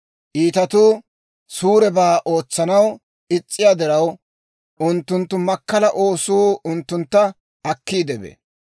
Iitatuu suurebaa ootsanaw is's'iyaa diraw, unttunttu makkala oosuu unttuntta akkiide bee.